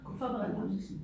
Godt for balancen